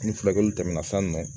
Ni furakɛli tɛmɛna san nɔ